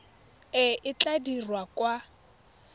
e e tla dirwang kwa